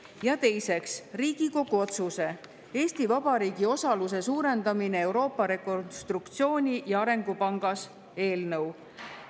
Ja teiseks, Riigikogu otsuse "Eesti Vabariigi osaluse suurendamine Euroopa Rekonstruktsiooni- ja Arengupangas" eelnõu.